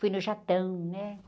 Fui no jatão, né?